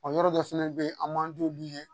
yɔrɔ dɔ fana bɛ yen an m'an di olu ye